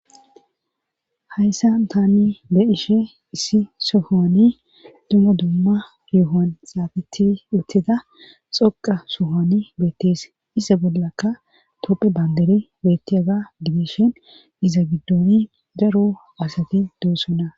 hayssan tani be'ishe issi sohoni dumma dumma yohon xaafetti uttida xoqa sohoni beettees isa bollakka topphe banderi beetti aga gidishen giza giddoni daro asati doossona